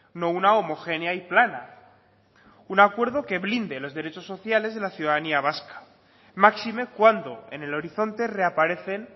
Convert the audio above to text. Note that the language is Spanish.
no una homogénea y plana un acuerdo que blinde los derechos sociales de la ciudadanía vasca máxime cuando en el horizonte reaparecen